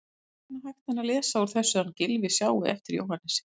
Ekki annað hægt að lesa úr þessu en að Gylfi sjái eftir Jóhannesi.